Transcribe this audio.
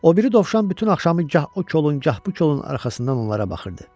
O biri dovşan bütün axşamı gah o kolun, gah bu kolun arxasından onlara baxırdı.